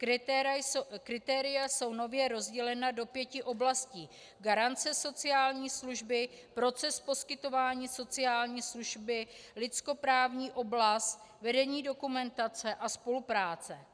Kritéria jsou nově rozdělena do pěti oblastí: garance sociální služby, proces poskytování sociální služby, lidskoprávní oblast, vedení dokumentace a spolupráce.